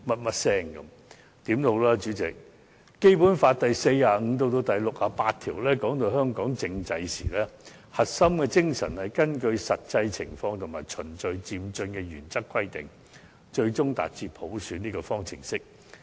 無論如何，主席，《基本法》在第四十五條至第六十八條談到香港政制時，核心精神是以根據實際情況和循序漸進的原則而規定，最終達至普選這個方程式來進行。